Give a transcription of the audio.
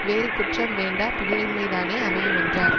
வேறு குற்றம் வேண்டா புகழின்மைதானே அமையுமென்றார்